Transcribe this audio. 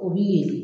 O bi ye